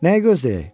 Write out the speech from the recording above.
Nəyi gözləyək?